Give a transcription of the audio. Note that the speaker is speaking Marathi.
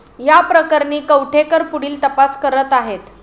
या प्रकरणी कवठेकर पुढील तपास करत आहेत.